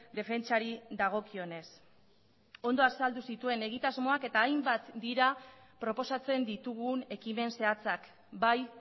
defentsari dagokionez ondo azaldu zituen egitasmoak eta hainbat dira proposatzen ditugun ekimen zehatzak bai